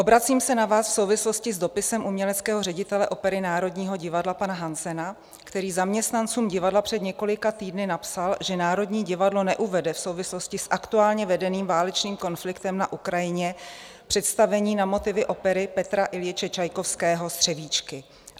Obracím se na vás v souvislosti s dopisem uměleckého ředitele opery Národního divadla pana Hansena, který zaměstnancům divadla před několika týdny napsal, že Národní divadlo neuvede v souvislosti s aktuálně vedeným válečným konfliktem na Ukrajině představení na motivy opery Petra Iljiče Čajkovského Střevíčky.